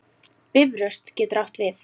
Bifröst getur átt við